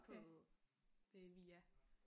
På øh Via